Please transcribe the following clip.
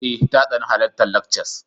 Eh ta tsani halartar lectures.